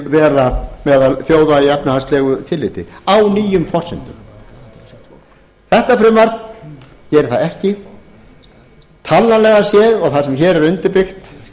á meðal þjóða í efnahagslegu tilliti á nýjum forsendum þetta frumvarp gerir það ekki talnalega séð og það sem hér er undirbyggt